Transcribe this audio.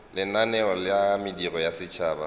lenaneo la mediro ya setšhaba